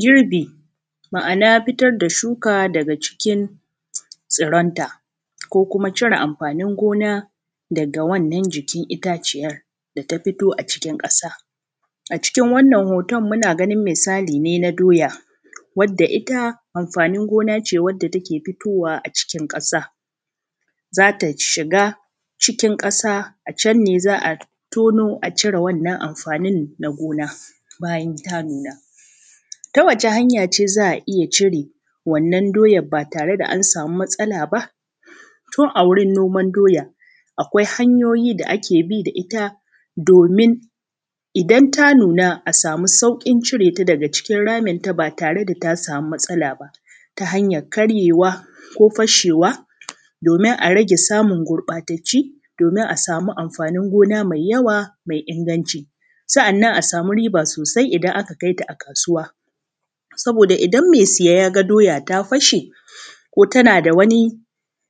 Girbi, ma’ana fitar da shuka daga cikin tsuronta, ko kuma cire amfanin gona daga wannan jikin itaciyar da ta fito a cikin ƙasa A cikin wannan hoton, muna ganin misali ne na doya, wadda ita amfanin gona ce wadda take fitowa a cikin ƙasa Za ta shiga cikin ƙasa, a can ne za a tono a cire wannan amfani na gona bayan ta nuna. Ta wace hanya ce za a iya cire wannan doyad ba tare da an sami matsala ba? Tun a wurin noman doya, akwai hanyoyi da ake bi da ita domin idan ta nuna, a sami sauƙin cire ta daga cikin raminta ba tare da ta sami matsala ba ta hanyar karyewa ko fashewa domin a rage samun gurƃatacci, domin a sami amfanin gona mai yawa mai inaganci, sannan a sami riba sosai idan aka kai ta a kasuwa. Saboda idan me siya ya ga doya ta fashe, ko tana da wani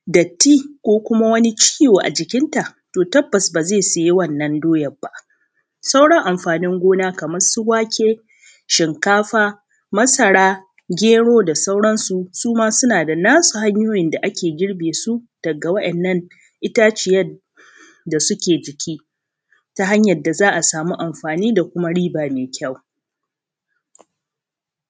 datti, ko kuma wani ciwo a jikinta, to tabbas ba ze siye wannan doya ba Sauran amfanin gona kamar su wake, shinkafa, masara, gero da sauran su, su ma suna da nasu hanyoyin da ake girbe su dagga waˀyan nan itaciyad da suke jiki ta hanyar da za a sami amfani da kuma riba me kyau.